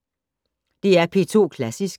DR P2 Klassisk